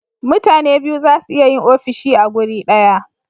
mutane biyu zasu iya Yin ofishi a guri daya